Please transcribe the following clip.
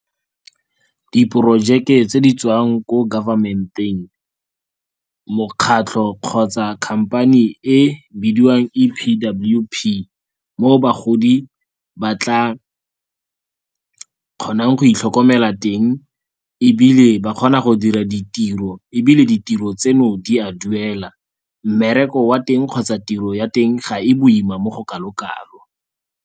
Diprojeke tse di tswang ko government-eng, mokgatlho kgotsa company e bidiwang E_P_W_P mo bagodi ba tla kgonang go itlhokomela teng ebile ba kgona go dira ditiro, ebile ditiro tseno di a duela. Mmereko wa teng kgotsa tiro ya teng ga e boima mo go kalo-kalo.